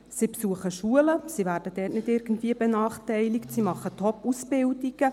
Sie besuchen Schulen, sie werden dort nicht irgendwie benachteiligt, sie machen Ausbildungen.